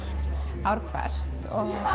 ár hvert